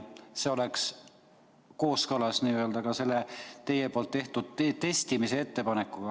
See oleks kooskõlas ka teie tehtud testimise ettepanekuga.